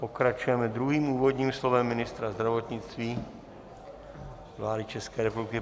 Pokračujeme druhým úvodním slovem ministra zdravotnictví vlády České republiky.